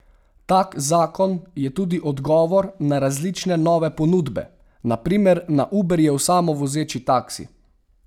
Tak zakon je tudi odgovor na različne nove ponudbe, na primer na Uberjev samovozeči taksi.